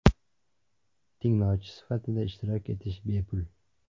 Tinglovchi sifatida ishtirok etish bepul.